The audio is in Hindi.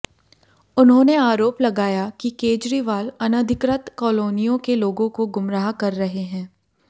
उन्होंने आरोप लगाया कि केजरीवाल अनधिकृत कॉलोनियों के लोगों को गुमराह कर रहे हैं